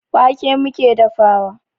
Wake muke dafawa.